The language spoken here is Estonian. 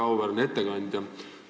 Väga auväärne ettekandja!